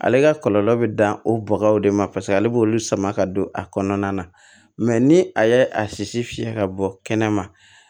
Ale ka kɔlɔlɔ bɛ dan o bɔgɔw de ma paseke ale b'olu sama ka don a kɔnɔna na mɛ ni a ye a sisi fiyɛ ka bɔ kɛnɛma